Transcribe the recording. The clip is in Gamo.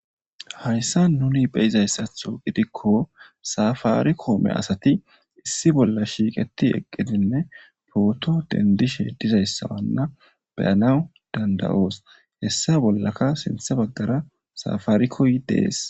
Hayssa nuni beyizayssatho gidikko safaarikoome asati issi bolla shiiqetti eqqidinne pooto denddishe dizayssawanna beyanaw dandayoos hessa bollaka sinthe baggara safarikoy de7ees.